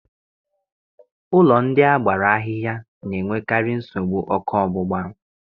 Ụlọ ndị a gbara ahịhịa na-enwekarị nsogbu oku ogbugba